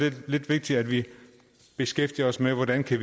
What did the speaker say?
lidt vigtigt at vi beskæftiger os med hvordan vi